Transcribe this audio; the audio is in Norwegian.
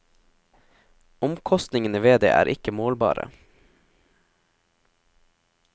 Omkostningene ved det er ikke målbare.